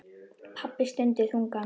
Pabbi stundi þungan.